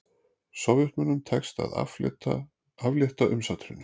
Sovétmönnum tekst að aflétta umsátrinu